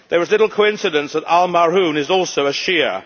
There is little coincidence that al-Marhoon is also a Shia.